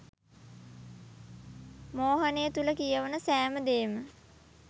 මෝහනය තුල කියවන සෑම දේම